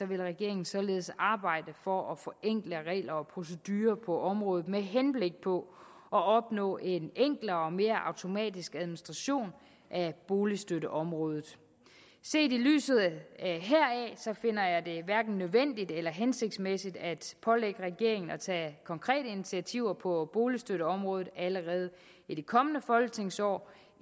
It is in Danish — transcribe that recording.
vil regeringen således arbejde for at forenkle regler og procedurer på området med henblik på at opnå en enklere og mere automatisk administration af boligstøtteområdet set i lyset heraf finder jeg det hverken nødvendigt eller hensigtsmæssigt at pålægge regeringen at tage konkrete initiativer på boligstøtteområdet allerede i det kommende folketingsår